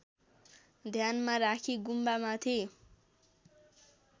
ध्यानमा राखी गुम्बामाथि